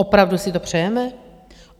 Opravdu si to přejeme?